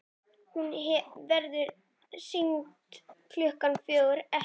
Hún verður sýnd klukkan fjögur, ekki fimm.